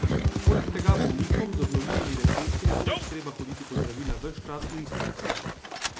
Poleg tega bolnikom z obnovljivimi recepti ne bo več treba hoditi po zdravila ves čas v isto lekarno.